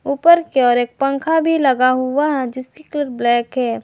ऊपर की ओर एक पंखा भी लगा हुआ है जिसकी कलर ब्लैक है।